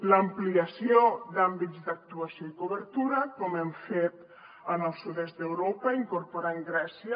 l’ampliació d’àmbits d’actuació i cobertura com hem fet en el sud est d’europa incorporant grècia